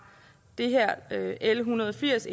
l en hundrede og firs